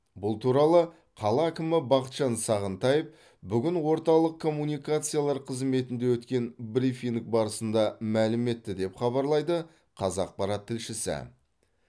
бұл туралы қала әкімі бақытжан сағынтаев бүгін орталық коммуникациялар қызметінде өткен брифинг барысында мәлім етті деп хабарлайды қазақпарат тілшісі